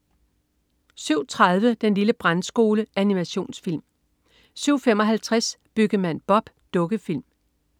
07.30 Den lille Brandskole. Animationsfilm 07.55 Byggemand Bob. Dukkefilm